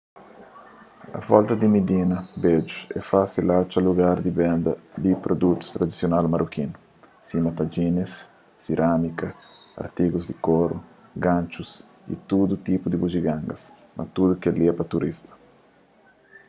a volta di midina bedju é fásil atxa lugar di benda di produtus tradisional marokinu sima tagines sirámika artigus di koru ganxus y tudu tipu di bujigangas mas tudu kel-li é pa turistas